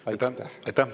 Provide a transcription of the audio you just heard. Aitäh!